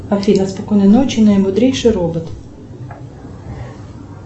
афина спокойной ночи наимудрейший робот